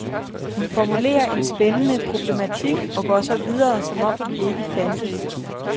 Hun formulerer en spændende problematik, og går så videre, som om den ikke fandtes.